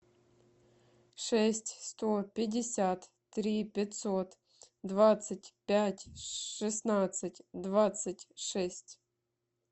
шесть сто пятьдесят три пятьсот двадцать пять шестнадцать двадцать шесть